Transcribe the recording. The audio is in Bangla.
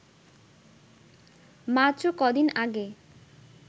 মাত্র কদিন আগে